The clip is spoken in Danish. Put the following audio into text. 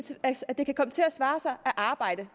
svare sig at arbejde